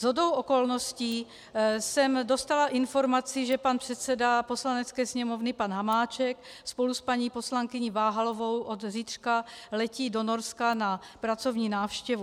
Shodou okolností jsem dostala informaci, že pan předseda Poslanecké sněmovny, pan Hamáček, spolu s paní poslankyní Váhalovou od zítřka letí do Norska na pracovní návštěvu.